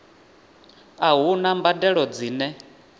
a hu na mbadelo dzine